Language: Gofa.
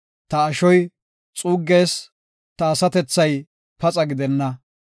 Ta ashoy xuuggees; ta asatethay paxa gidenna.